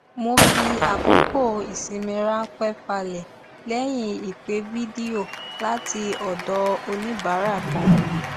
mo fi àkókò ìsinmi ránpẹ falẹ lẹyìn ìpè fídíò láti ọdọ oníbàárà kan